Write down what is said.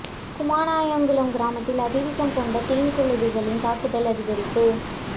குமானாயங்குளம் கிராமத்தில் அதி விசம் கொண்ட தேன் குளவிகளின் தாக்குதல் அதிகரிப்பு